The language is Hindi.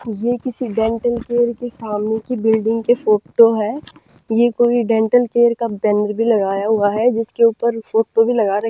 ये किसी डेंटल केयर के सामने की बिल्डिंग के फोटो है यह कोई डेंटल केयर का बैनर भी लगाया हुआ है जिसके ऊपर फोटो लगा रखी--